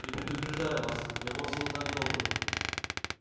и предупреждаю вас я вовсе не так добр